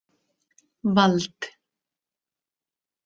Vald